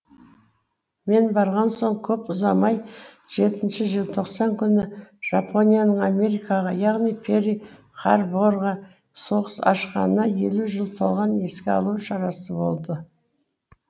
мен барған соң көп ұзамай жетінші желтоқсан күні жапонияның америкаға яғни перл харборға соғыс ашқанына елу жыл толған еске алу шарасы болды